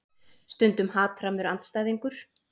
Stundum hatrammur andstæðingur.